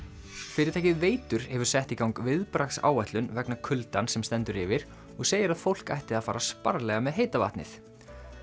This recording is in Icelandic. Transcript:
fyrirtækið Veitur hefur sett í gang viðbragðsáætlun vegna kuldans sem stendur yfir og segir að fólk ætti að fara sparlega með heita vatnið